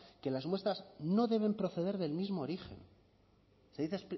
que las muestras no deben proceder del mismo origen se dice